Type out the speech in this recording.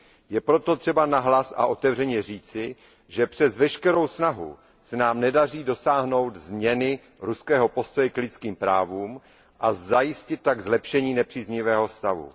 Je proto třeba nahlas a otevřeně říci, že přes veškerou snahu se nám nedaří dosáhnout změny ruského postoje k lidským právům a zajistit tak zlepšení nepříznivého stavu.